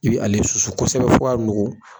I be ale susu kosɛbɛ fo ka nuku.